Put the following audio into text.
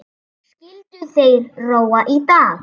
Skyldu þeir róa í dag?